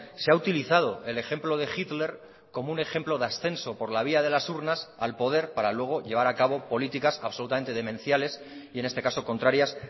se ha utilizado el ejemplo de hitler como un ejemplo de ascenso por la vía de las urnas al poder para luego llevar a cabo políticas absolutamente demenciales y en este caso contrarias